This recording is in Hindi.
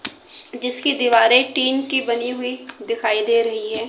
जिसकी दीवारें टीन की बनी हुई दिखाई दे रही है।